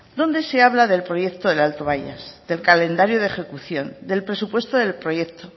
donde se habla del proyecto del alto bayas del calendario de ejecución del presupuesto del proyecto